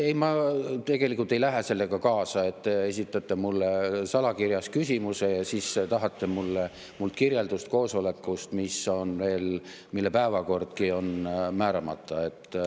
Ei, ma tegelikult ei lähe sellega kaasa, et te esitate mulle salakirjas küsimuse ja siis tahate mult kirjeldust koosoleku kohta, mille päevakord on määramata.